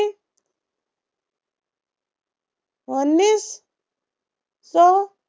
वन्नीस so